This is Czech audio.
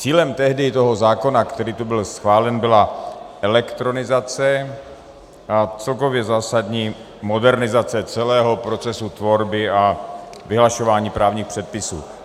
Cílem tehdy toho zákona, který tu byl schválen, byla elektronizace a celkově zásadní modernizace celého procesu tvorby a vyhlašování právních předpisů.